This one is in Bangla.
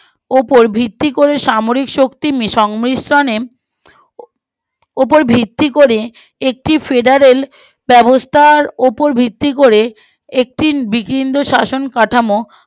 উপর ভিত্তি করে সামরিক শক্তির সংমিশ্রনে উপর ভিত্তি করে একটি ফেডারেল ব্যবস্থার উপর ভিত্তি করে একটি বিভিন্ন শাসন কাঠামো